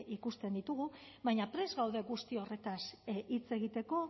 ikusten ditugu baina prest gaude guzti horretaz hitz egiteko